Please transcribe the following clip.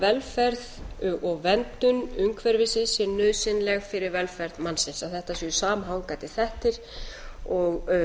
velferð og verndun umhverfisins sé nauðsynleg fyrir velferð mannsins að þetta séu samhangandi þættir og